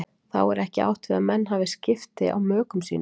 Þá er ekki átt við að menn hafi skipti á mökum sínum.